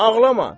Ağlama.